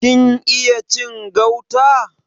Kin iya cin gauta?